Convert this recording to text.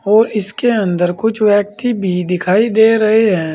और इसके अंदर कुछ व्यक्ति भी दिखाई दे रहे हैं।